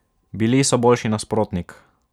Bili so boljši nasprotnik.